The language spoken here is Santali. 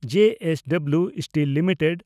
ᱡᱮ ᱮᱥ ᱰᱚᱵᱞᱤᱣ ᱥᱴᱤᱞ ᱞᱤᱢᱤᱴᱮᱰ